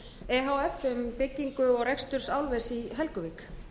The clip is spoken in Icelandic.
e h f um byggingu og rekstur álvers í helguvík